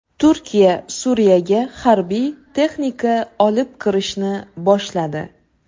Turkiya Suriyaga harbiy texnika olib kirishni boshladi.